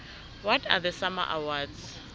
what are the sama awards